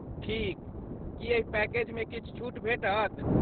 ठीक। की एहि पैकेजमे किछु छूट भेटत?